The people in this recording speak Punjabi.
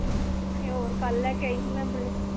ਤੇ ਹੋਰ ਕੱਲ